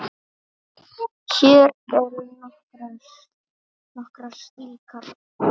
Hér eru nokkrar slíkar